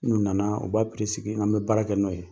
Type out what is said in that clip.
N'u na na u b'a sigi an bɛ baara kɛ nɔ ye.